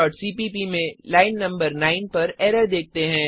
cpp में line नं 9 पर एरर देखते हैं